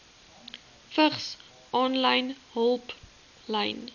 vigs aanlyn hulplyn